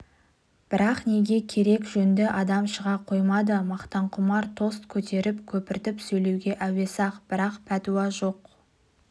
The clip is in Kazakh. бірақ не керек жөнді адам шыға қоймады мақтанқұмар тост көтеріп көпіртіп сөйлеуге әуес-ақ бірақ пәтуа жоқ